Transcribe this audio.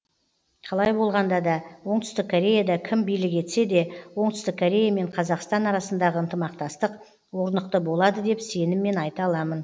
қалай болғанда да оңтүстік кореяда кім билік етсе де оңтүстік корея мен қазақстан арасындағы ынтымақтастық орнықты болады деп сеніммен айта аламын